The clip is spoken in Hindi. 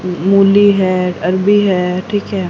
मूली है अरवी है ठीक है।